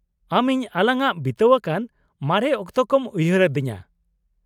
ᱟᱢ ᱤᱧ ᱟᱞᱟᱝᱟᱜ ᱵᱤᱛᱟ.ᱣ ᱟᱠᱟᱱ ᱢᱟᱨᱮ ᱚᱠᱛᱚ ᱠᱚᱢ ᱩᱭᱦᱟᱨ. ᱟ.ᱫᱤᱧᱟ ᱾